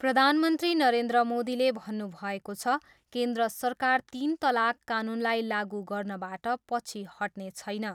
प्रधनमन्त्री नरेन्द्र मोदीले भन्नुभएको छ, केन्द्र सरकार तिन तलाक कानुनलाई लागु गर्नबाट पछि हट्ने छैन।